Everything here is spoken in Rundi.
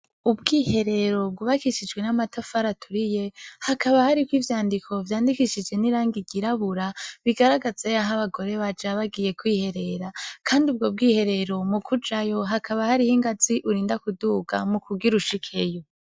Ubwiherero bw'ubakishije n'amatafari aturiye hakaba hariko ivyandiko vyandikishije n'irangi ryirabura bigaragaza yaho abagore baja bagiye kwiherera kandi ubwo bwiherero mukujayo hakaba hariho ingazi urinda kuduga mukugira ushikeyo.